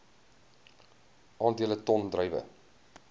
aandele ton druiwe